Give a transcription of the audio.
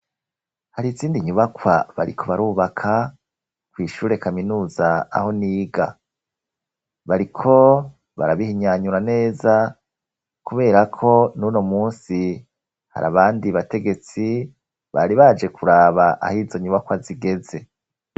Hari isindi nyubakwa bariko barubaka kwishura e kaminuza aho n'iga bariko barabihinyanyura neza kuberako nuno musi hari abandi bategetsi bari baje kuraba aho izonyubakwa zigeze.